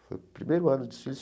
Foi o primeiro ano de desfiles.